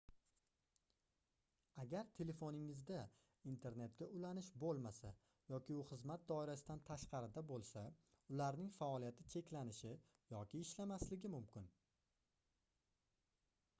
agar telefoningizda internetga ulanish boʻlmasa yoki u xizmat doirasidan tashqarida boʻlsa ularning faoliyati cheklanishi yoki ishlamasligi mumkin